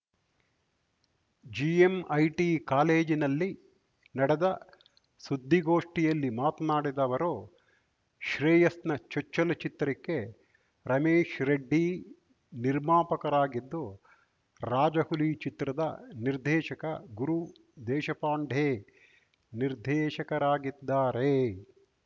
GMIT ಕಾಲೇಜಿನಲ್ಲಿ ನಡೆದ ಸುದ್ದಿಗೋಷ್ಟಿಯಲ್ಲಿ ಮಾತ್ನಾಡಿದ ಅವರು ಶ್ರೇಯಸ್‌ನ ಚೊಚ್ಚಲು ಚಿತ್ರಕ್ಕೆ ರಮೇಶ್‌ ರೆಡ್ಡಿ ನಿರ್ಮಾಪಕರಾಗಿದ್ದು ರಾಜಹುಲಿ ಚಿತ್ರದ ನಿರ್ದೇಶಕ ಗುರು ದೇಶಪಾಂಡೆ ನಿರ್ದೇಶಕರಾಗಿದ್ದಾರೆ